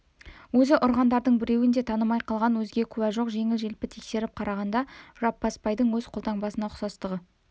өзі ұрғандардың біреуін де танымай қалған өзге куә жоқ жеңіл-желпі тексеріп қарағанда жаппасбайдың өз қолтаңбасына ұқсастығы